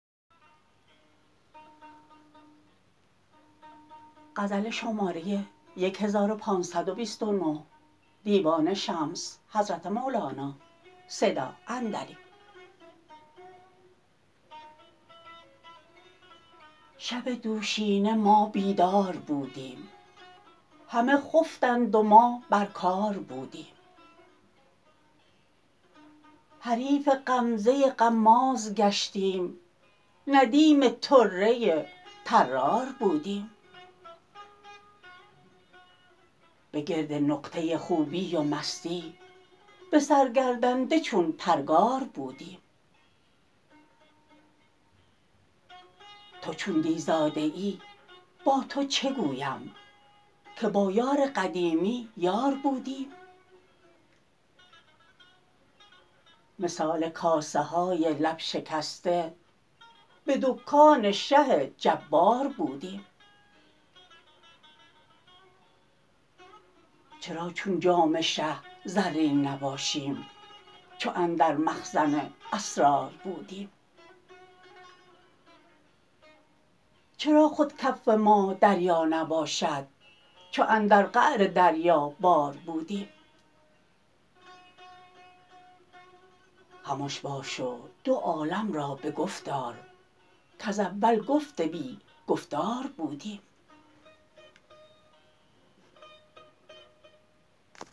شب دوشینه ما بیدار بودیم همه خفتند و ما بر کار بودیم حریف غمزه غماز گشتیم ندیم طره طرار بودیم به گرد نقطه خوبی و مستی به سر گردنده چون پرگار بودیم تو چون دی زاده ای با تو چه گویم که با یار قدیمی یار بودیم مثال کاسه های لب شکسته به دکان شه جبار بودیم چرا چون جام شه زرین نباشیم چو اندر مخزن اسرار بودیم چرا خود کف ما دریا نباشد چو اندر قعر دریابار بودیم خمش باش و دو عالم را به گفت آر کز اول گفت بی گفتار بودیم